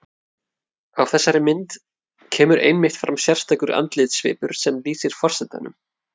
Á þessari mynd kemur einmitt fram sérstakur andlitssvipur sem lýsir forsetanum.